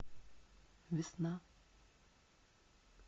весна